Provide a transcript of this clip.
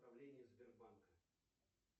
правление сбербанка